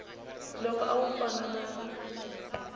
loko a wu fana na